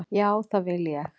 Já, það vil ég.